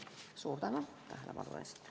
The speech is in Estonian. Suur tänu tähelepanu eest!